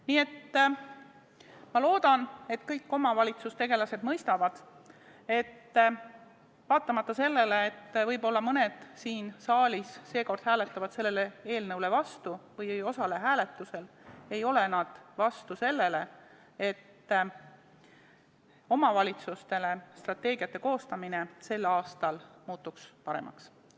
Nii et ma loodan, et kõik omavalitsustegelased mõistavad, et vaatamata sellele, et võib-olla mõned siin saalis seekord hääletavad selle eelnõu vastu või ei osale hääletusel, ei ole nad selle vastu, et omavalitsuste strateegiate koostamine muutuks sel aastal paremaks.